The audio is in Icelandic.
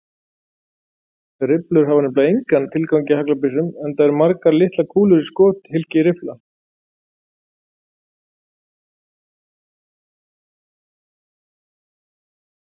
Rifflur hafa nefnilega engan tilgang í haglabyssum enda margar litlar kúlur í skothylki riffla.